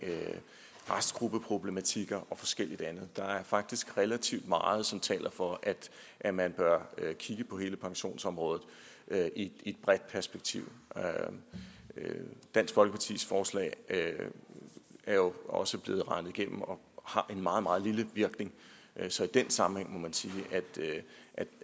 restgruppeproblematikker og forskelligt andet der er faktisk relativt meget som taler for at at man bør kigge på hele pensionsområdet i et bredt perspektiv dansk folkepartis forslag er jo også blevet regnet igennem og har en meget meget lille virkning så i den sammenhæng må man sige